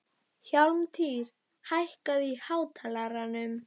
Hjálmtýr, hækkaðu í hátalaranum.